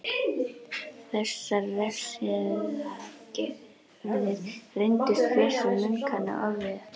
Þessar refsiaðgerðir reyndust flestum munkanna ofviða.